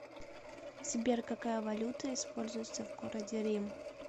сбер какая валюта используется в городе рим